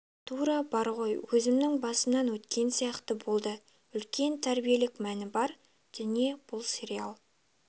тура бар ғой өзімнің басымнан өткен сияқты болды үлкен тәрбиелік мәні бар дүние бұл сериал